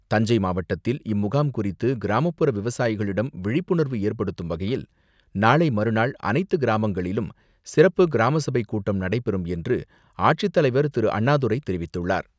தஞ்சை மாவட்டத்தில் இம்முகாம் குறித்து கிராமப்புற விவசாயிகளிடம் விழிப்புணர்வு ஏற்படுத்தும் வகையில் நாளை மறுநாள் அனைத்து கிராமங்களிலும் சிறப்பு கிராமசபைக்கூட்டம் நடைபெறும் என்று, ஆட்சித்தலைவர் திரு.அண்ணாதுரை தெரிவித்துள்ளார்.